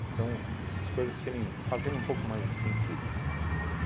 Então, as coisas serem fazerem um pouco mais de sentido.